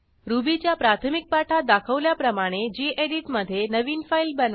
रुबीच्या प्राथमिक पाठात दाखवल्याप्रमाणे गेडीत मधे नवीन फाईल बनवा